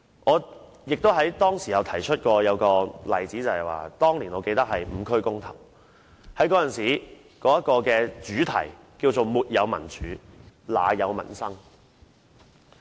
我當時亦曾提及一個例子，指出當年"五區公投"行動的主題是"沒有民主，哪有民生"。